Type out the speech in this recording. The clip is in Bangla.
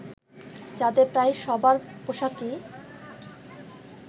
যাদের প্রায় সবার পোশাকই